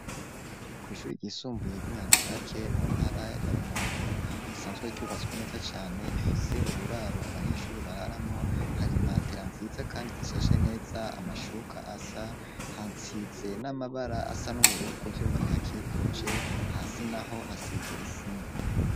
Kw'ishuri ryisumbuye ry'i Nyanza rake mu ntara ya Rumonge, risanzwe ryubatswe neza cane, rifise uburaro abanyeshuri bararamwo. Har'imatera nziza kandi zishashe neza, amashuka asa nk'ayacitse n'amabara asa n'ubururu n'ivyuma bihakikuje, hasi n'aho hasize isima.